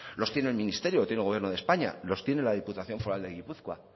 los tiene el ministerio lo tiene el gobierno de españa los tiene la diputación foral de gipuzkoa